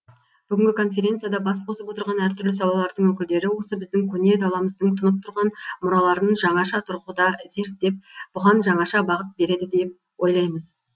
бүгінгі конференцияда бас қосып отырған әртүрлі салалардың өкілдері осы біздің көне даламыздың тұнып тұрған мұраларын жаңаша тұрғыда зерттеп бұған жаңаша бағыт береді деп ойлаймыз